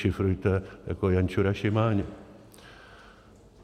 Dešifrujte jako Jančura-Šimáně.